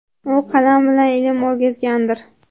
U qalam bilan ilm o‘rgatgandir.